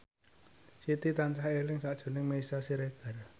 Siti tansah eling sakjroning Meisya Siregar